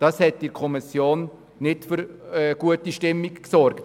Das hat in der Kommission nicht für gute Stimmung gesorgt.